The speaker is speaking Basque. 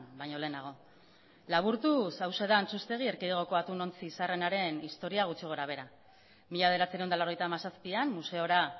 baino lehenago laburtuz hauxe da antxustegi erkidegoko atunontzi zaharrenaren historia gutxi gora behera mila bederatziehun eta laurogeita hamazazpian museora